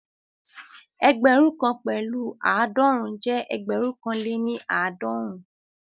Ẹgbẹ̀rún kan pẹ̀lu aadọrun jẹ́ ẹgbẹ̀rún kan lè ní aadọrun